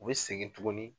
U bɛ segin tuguni